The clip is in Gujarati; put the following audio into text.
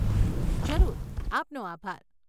જરૂર, આપનો આભાર.